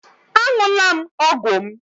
Aṅụla m ọgwụ m